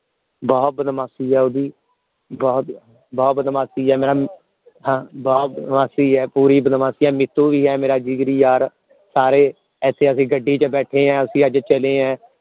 ਬਹੁਤ ਬਦਮਾਸ਼ੀ ਹੈ ਓਹਦੀ ਬਹੁਤ ਬਹੁਤ ਬਦਮਾਸ਼ੀ ਹੈ ma'am ਹਾਂ ਬਹੁਤ ਬਦਮਾਸ਼ੀ ਹੈ ਪੂਰੀ ਬਦਮਾਸ਼ੀ ਬਹੁਤ ਬਦਮਾਸ਼ੀ ਮਿੱਠੂ ਵੀ ਹੈ ਮੇਰਾ ਜਿਗਰ ਯਾਰ ਸਾਰੇ ਅਸੀਂ ਅੱਜ ਗੱਡੀ ਚ ਬੈਠੇ ਆ ਅਸੀਂ ਅੱਜ ਚਲੇ ਆ